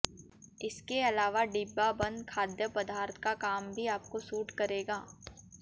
इसके अलावा डिब्बा बंद खाद्य पदार्थ का काम भी आपको सूट करेगा